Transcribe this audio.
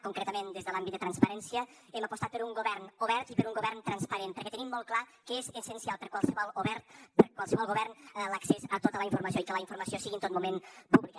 concretament des de l’àmbit de transparència hem apostat per un govern obert i per un govern transparent perquè tenim molt clar que és essencial per a qualsevol govern l’accés a tota la informació i que la informació sigui en tot moment pública